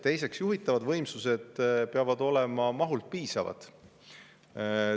Teiseks, juhitavad võimsused peavad olema mahult piisavad.